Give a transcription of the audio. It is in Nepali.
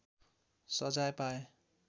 सजाय पाए